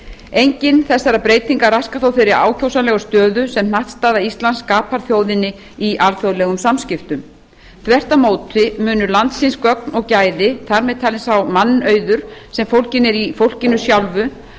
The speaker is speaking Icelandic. engin þessara breytinga raskar þó þeirri ákjósanlegu stöðu sem hnattstaða íslands skapar þjóðinni í alþjóðlegum samskiptum þvert á móti munu landsins gögn og gæði þar með talinn sá mannauður sem fólginn er í fólkinu sjálfu